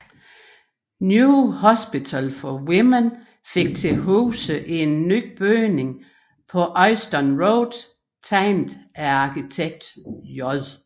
New Hospital for Women fik til huse i en ny bygning på Euston Road tegnet af arkitekten J